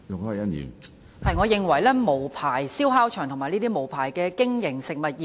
我認為應嚴厲打擊無牌燒烤場及這些無牌經營的食物業。